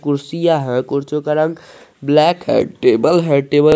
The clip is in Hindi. कुर्सियां है कुर्सियों का रंग ब्लैक है टेबल है।